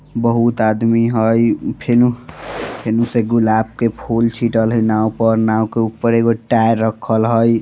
बहुत आदमी हई फेनू फिन से गुलाब के फुल छिटल हई नाव पर नाव के ऊपर एगो टायर राखल हई ।